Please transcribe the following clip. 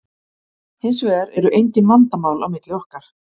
Hins vegar eru engin vandamál á milli okkar.